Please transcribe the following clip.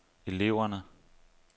eleverne